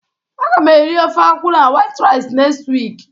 a ga m eri ofe akwu na white rice next week